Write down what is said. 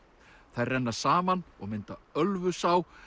þær renna saman og mynda Ölfusá